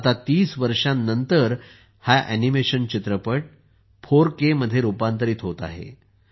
आता 30 वर्षांनंतर हा ऍनिमेशन चित्रपट 4K मध्ये रुपांतरीत होत आहे